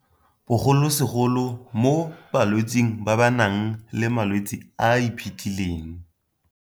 bogolosegolo mo balwetseng ba ba nang le malwetse a a iphitlhileng.